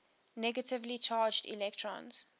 negatively charged electrons